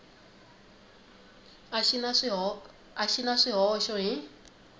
a xi na swihoxo hi